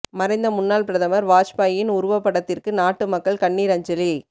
மறைந்த முன்னாள் பிரதமர் வாஜ்பாயின் உருவப்படத்திற்கு நாட்டு மக்கள் கண்ணீர் அஞ்சலி